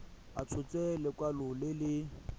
a tshotse lekwalo le le